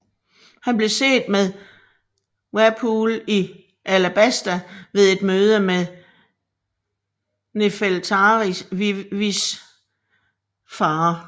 Han blev set med Wapol i Alabasta ved et møde med Nefeltari Vivis far